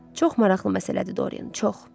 Çox maraqlı məsələdir, Dorian, çox.